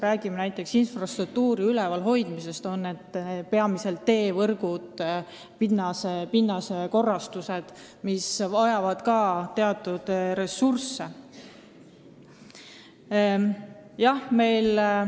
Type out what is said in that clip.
Räägime näiteks infrastruktuuri ülevalhoidmisest, s.o peamiselt teevõrgud ja pinnase korrastused, mis vajab ka teatud ressurssi.